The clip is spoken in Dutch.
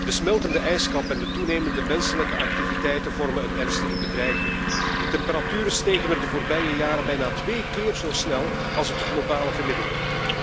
De smeltende ijskap en de toenemende menselijke activiteiten vormen een ernstige bedreiging. De temperaturen stegen er de voorbije jaren bijna twee keer zo snel als het globale gemiddelde.